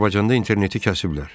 Azərbaycanda interneti kəsiblər.